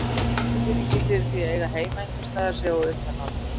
Tilfinningin fyrir því að eiga heima einhvers staðar sé á undanhaldi.